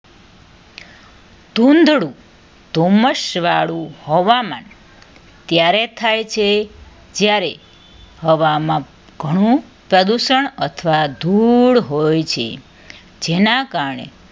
ધૂંધળું ધુમ્મસ વાળું હોવામાં ત્યારે થાય છે જ્યારે હવામાન ઘણું પ્રદૂષણ અથવા ધૂળ હોય છે જેના કારણે